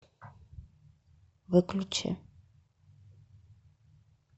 выключи